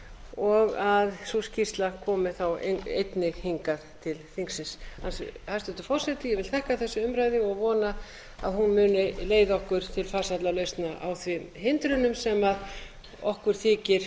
og að sú skýrsla komi þá einnig hingað til þingsins hæstvirtur forseti ég vil þakka þessa umræðu og vona að hún muni leiða okkur til farsælla lausna á þeim hindrunum sem okkur þykir